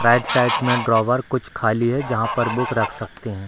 Right side में drawer कुछ खाली है जहाँ पर बुक रख सकते हैं।